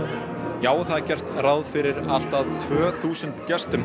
já það er gert ráð fyrir allt að tvö þúsund gestum